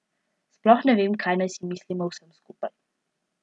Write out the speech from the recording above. Sploh ne vem, kaj naj si mislim o vsem skupaj.